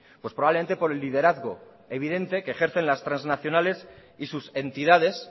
pues probablemente por el liderazgo evidente que ejercen las transnacionales y sus entidades